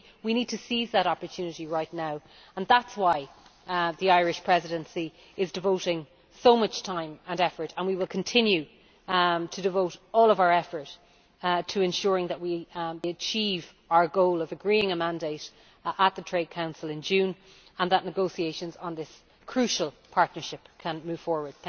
So we need to seize that opportunity right now, and that is why the Irish Presidency is devoting so much time and effort and we will continue to devote all of our effort to ensuring that we achieve our goal of agreeing a mandate at the Trade Council in June and that negotiations on this crucial partnership can move forward.